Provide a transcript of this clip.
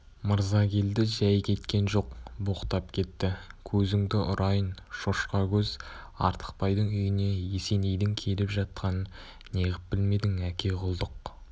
мырзакелді жай кеткен жоқ боқтап кетті көзіңді ұрайын шошқа көз артықбайдың үйіне есенейдің келіп жатқанын неғып білмедің әке құлдық